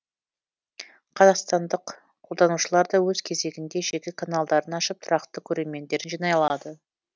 қазақстандық қолданушылар да өз кезегінде жеке каналдарын ашып тұрақты көрермендерін жинай алады